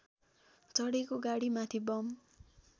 चढेको गाडीमाथि बम